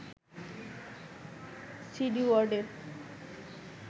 CD ওয়ার্ডের